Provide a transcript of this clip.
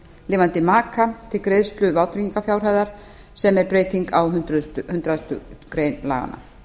lifandi maka til greiðslu vátryggingarfjárhæðar sem er breyting á hundrað greinar laganna